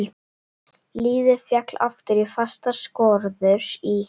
Lífið féll aftur í fastar skorður í